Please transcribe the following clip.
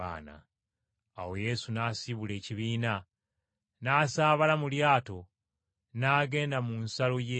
Awo Yesu n’asiibula ekibiina, n’asaabala mu lyato n’agenda mu nsalo y’e Magadani.